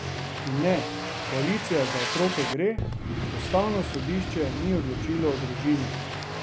In ne, koalicija Za otroke gre, ustavno sodišče ni odločilo o družini.